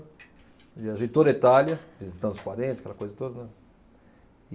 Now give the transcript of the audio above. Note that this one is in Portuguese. Viajei toda a Itália, visitar os parentes, aquela coisa toda, né.